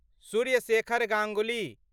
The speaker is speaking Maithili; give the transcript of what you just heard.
सूर्य शेखर गांगुली